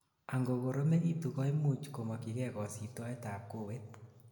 angokoromegitun koimuch komokyigei kosibtoet ab kowet